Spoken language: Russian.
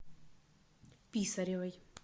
писаревой